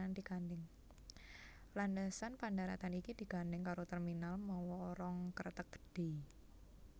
Landhesan pandharatan iki digandhèng karo terminal mawa rong kreteg gedhé